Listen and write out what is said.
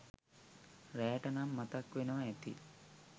රෑට නම් මතක් වෙනව ඇති ?